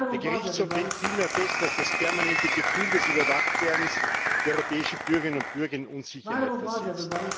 Der Gerichtshof hält vielmehr fest, dass das permanente Gefühl des Überwachtwerdens die europäischen Bürgerinnen und Bürger in Unsicherheit versetzt.